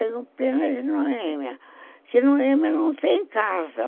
Tenho pena de Noêmia, que Noêmia não tem casa.